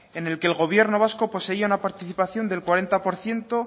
en el que el gobierno vasco poseía una participación del cuarenta por ciento